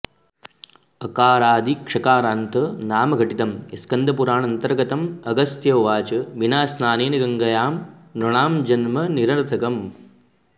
अकारादिक्षकारान्त नामघटितं स्कन्दपुराणान्तर्गतं अगस्त्य उवाच विना स्नानेन गङ्गायां नृणां जन्म निरर्थकम्